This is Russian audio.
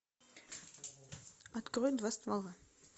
открой два ствола